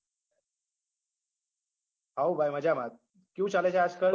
હઓ ભાઈ મજામાં જ કેવું ચાલે છે આજકલ